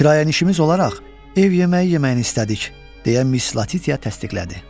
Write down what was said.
Kirayənişinimiz olaraq ev yeməyi yeməyini istədik, deyə Miss Latitya təsdiqlədi.